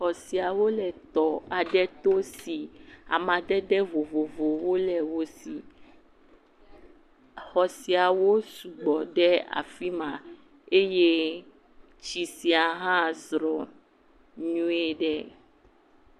Xɔ siawo le tɔ aɖe to si amadede vovovowo le wo si. Xɔ siawo sugbɔ ɖe afi ma eye tsi sia hã zrɔ nyuieɖe.